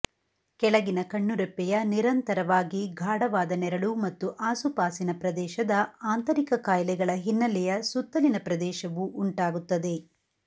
ಕೆಳಗಿನ ಕಣ್ಣುರೆಪ್ಪೆಯ ನಿರಂತರವಾಗಿ ಗಾಢವಾದ ನೆರಳು ಮತ್ತು ಆಸುಪಾಸಿನ ಪ್ರದೇಶದ ಆಂತರಿಕ ಕಾಯಿಲೆಗಳ ಹಿನ್ನೆಲೆಯ ಸುತ್ತಲಿನ ಪ್ರದೇಶವು ಉಂಟಾಗುತ್ತದೆ